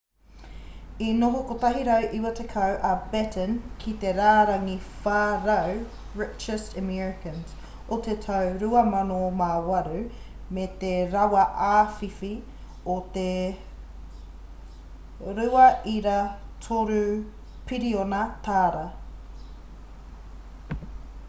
i noho 190 a batten ki te rārangi 400 richest americans o te tau 2008 me te rawa āwhiwhi o te $2.3 piriona